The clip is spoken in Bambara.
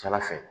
Ca ala fɛ